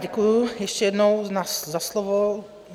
Děkuji ještě jednou za slovo.